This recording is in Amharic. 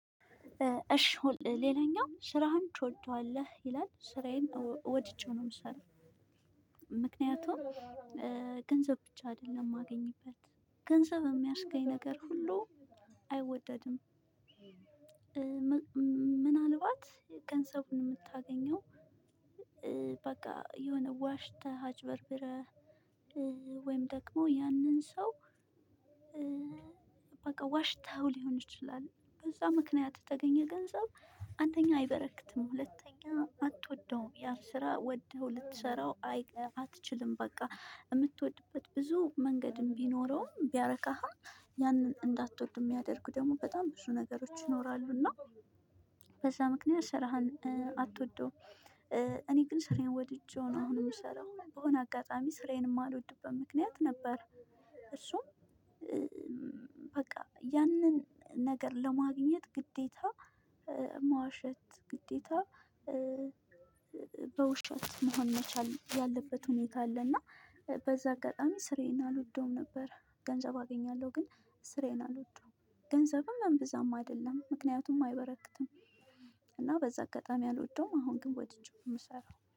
እሽ ሌላኛው ስራህን ትወደዋለህ ይላል ስራዬን ወድጄው ነው ምሰራ ምክንያቱም ገንዘብ ብቻ አይደለም ማገኝበት ገንዘብ ሚያስገኝ ነገር ሁሉ አይወደድም። ምናልባት ገንዘቡን ምታገኘው በቃ የሆነ ዋሽተህ አጭበርብረህ ወይም ደግሞ ያንን ሰው። በቃ ዋሽተኸው ሊሆን ይችላል በዛ ምክንያት የተገኘ ገንዘብ አንደኛ አይበረክትም። ሁለተኛ አትወደውም ያ ስራ ወደው ልትሰራው አትችልም። በቃ ምትወድበት ብዙ መንገድም ቢኖረውም ቢያረካህም ያንን እንዳትወድ ሚያደርጉ ደግሞ በጣም ብዙ ነገሮች ይኖራሉና። በዛ ምክንያት ስራህን አትወዱም። እኔ ግን ስራዬን ወድጄው ነው አሁን ምሰራው በሆነ አጋጣሚ ስራዬን ማልወድበት ምክንያት ነበር። ሶ በቃ ያንን ነገር ለማግኘት ግዴታ መዋሸት ግዴታ በውሸት መሆን መቻል ያለበት ሁኔታ አለ። እና በዛ አጋጣሚ ስራዬን አልወደውም ነበር። ገንዘብ አገኛለሁ ግን ስራዬን አልወደውም። ገንዘብም አምብዛም አይደለም ምክንያቱም አይበረክትም። እና በዛ አጋጣሚ አልወደውም አሁን ግን ወድጀው ነው ምሰራ